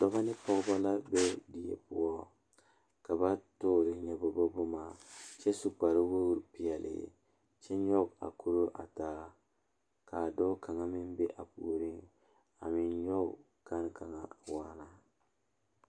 Dɔɔba ne Pɔgeba kaa pɔge nyoŋ dɔɔ nu ka katawiɛ Kyaara ka dɔɔ a su dagakparo ka pɔge a gyere wagye a le kodo kaa dɔɔba a gyere wagyere.